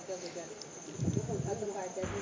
आपन काय काय विचारते